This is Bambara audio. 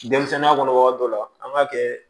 Denmisɛnninya kɔnɔ waati dɔ la an b'a kɛ